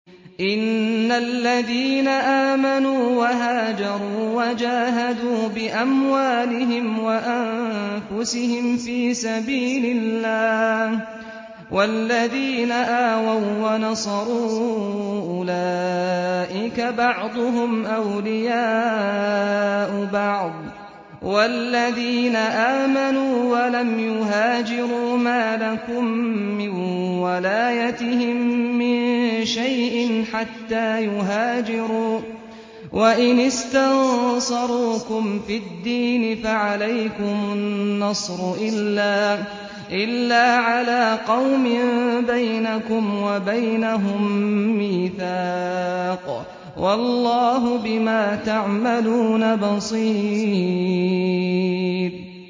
إِنَّ الَّذِينَ آمَنُوا وَهَاجَرُوا وَجَاهَدُوا بِأَمْوَالِهِمْ وَأَنفُسِهِمْ فِي سَبِيلِ اللَّهِ وَالَّذِينَ آوَوا وَّنَصَرُوا أُولَٰئِكَ بَعْضُهُمْ أَوْلِيَاءُ بَعْضٍ ۚ وَالَّذِينَ آمَنُوا وَلَمْ يُهَاجِرُوا مَا لَكُم مِّن وَلَايَتِهِم مِّن شَيْءٍ حَتَّىٰ يُهَاجِرُوا ۚ وَإِنِ اسْتَنصَرُوكُمْ فِي الدِّينِ فَعَلَيْكُمُ النَّصْرُ إِلَّا عَلَىٰ قَوْمٍ بَيْنَكُمْ وَبَيْنَهُم مِّيثَاقٌ ۗ وَاللَّهُ بِمَا تَعْمَلُونَ بَصِيرٌ